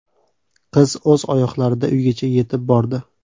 Qiz o‘z oyoqlarida uygacha yetib bordi.